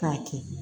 K'a kɛ